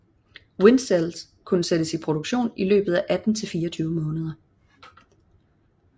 Windcell kunne sættes i produktion i løbet af 18 til 24 måneder